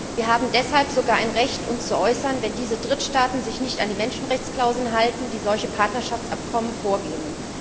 Wir haben deshalb sogar ein Recht, uns zu äußern, wenn diese Drittstaaten sich nicht an die Menschenrechtsklauseln halten, die solche Partnerschaftsabkommen vorgeben.